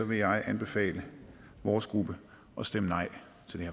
vil jeg anbefale vores gruppe at stemme nej